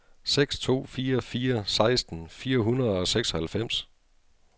seks to fire fire seksten fire hundrede og seksoghalvfems